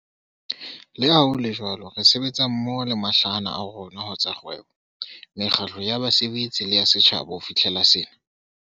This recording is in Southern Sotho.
Leha ho le jwalo, re sebetsa mmoho le mahlahana a rona ho tsa kgwebo, mekgatlo ya basebetsi le ya setjhaba ho fihlela sena.